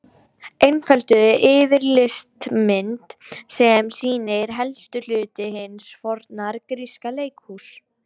Einfölduð yfirlitsmynd sem sýnir helstu hluta hins forna gríska leikhúss.